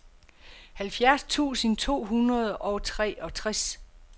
halvfjerds tusind to hundrede og treogtres